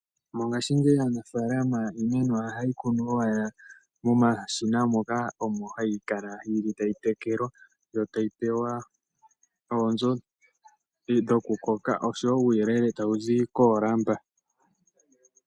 Mongashingeyi aanafalama iimeno yawo oha yeyi kunu ike momashina, moka omo hayi kala yili, tayi tekelwa, yo tayi pew oonzo dhoku koka, osho wo uuyelele tawu zi koolamba.